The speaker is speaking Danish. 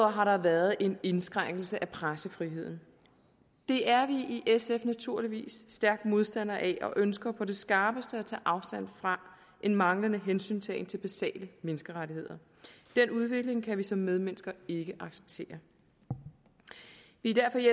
har der været en indskrænkelse af pressefriheden det er vi i sf naturligvis stærk modstander af og vi ønsker på det skarpeste at tage afstand fra en manglende hensyntagen til basale menneskerettigheder den udvikling kan vi som medmennesker ikke acceptere vi er derfor i